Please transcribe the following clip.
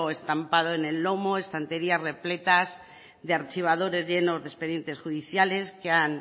estampado en el lomo estanterías repletas de archivadores llenos de expedientes judiciales que han